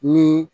Ni